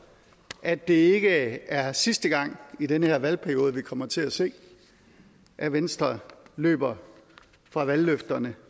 at det ikke er sidste gang i den her valgperiode at vi kommer til at se at venstre løber fra valgløfterne